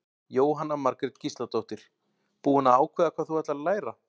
Jóhanna Margrét Gísladóttir: Búin að ákveða hvað þú ætlar að læra?